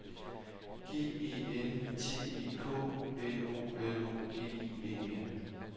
G E N T E K N O L O G I E N